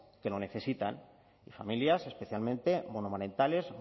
que lo necesitan familias especialmente monomarentales